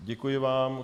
Děkuji vám.